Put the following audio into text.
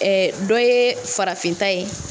Ɛ dɔ ye farafinta ye